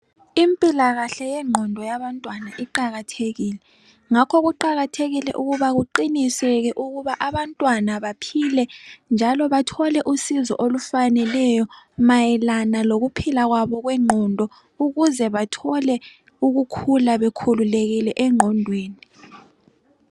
Impilakahle yengqondo yabantwana iqakathekile ngakho kuqakathekile ukuba kuqiniseke ukuba abantwana baphile njalo bathole usizo olufaneleyo mayelana lokuphila kwabo kwenqondo ukuze bathole ukukhula bekhululekile enqondweni.